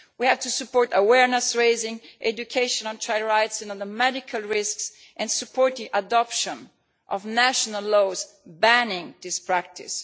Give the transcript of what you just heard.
We have to support awareness raising, education on child rights and the medical risks, and support the adoption of national laws banning this practice.